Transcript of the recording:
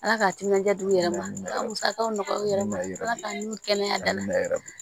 Ala ka timinan di u yɛrɛ ma ka musakaw nɔgɔya u yɛrɛ ma ala ka kɛnɛya ma